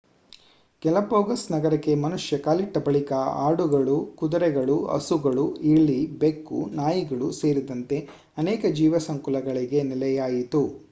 Galapagos ನಗರಕ್ಕೆ ಮನುಷ್ಯ ಕಾಲಿಟ್ಟ ಬಳಿಕ ಆಡುಗಳು ಕುದುರೆಗಳು ಹಸುಗಳು ಇಲಿ ಬೆಕ್ಕು ನಾಯಿಗಳು ಸೇರಿದಂತೆ ಅನೇಕ ಜೀವ ಸಂಕುಲಗಳಿಗೆ ನೆಲೆಯಾಯಿತು